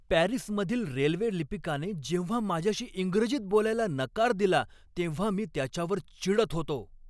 पॅरिसमधील रेल्वे लिपिकाने जेव्हा माझ्याशी इंग्रजीत बोलायला नकार दिला तेव्हा मी त्याच्यावर चिडत होतो.